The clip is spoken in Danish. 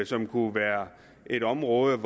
som kunne være et område